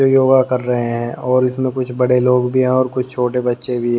जो योगा कर रहे हैं और इसमें कुछ बड़े लोग भी हैं और कुछ छोटे बच्चे भी--